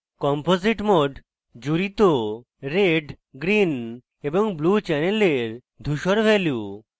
composite mode জুড়িত red green এবং blue channels ধুসর value